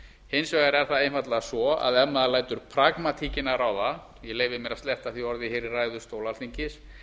hins vegar er það einfaldlega svo að ef maður lætur pragmatíkina ráða ég leyfi mér að sletta því orði í ræðustól alþingis